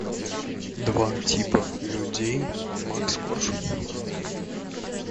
два типа людей макс корж